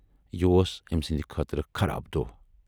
یہِ اوس أمۍ سٕنٛدِ خٲطرٕ خَراب دۄہ۔